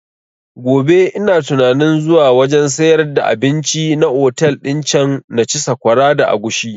Gobe ina tunanin zuwa wajen sayar da abinci na otel din can na ci sakwara da agushi